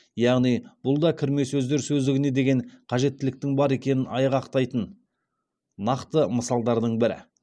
яғни бұл да кірме сөздер сөздігіне деген қажеттіліктің бар екенін айғақтайтын нақты мысалдардың бірі